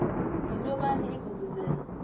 yinto bani ivuvuzela